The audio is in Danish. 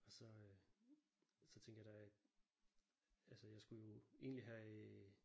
Og så øh. Så tænkte jeg der øh altså jeg skulle jo egentlig have øh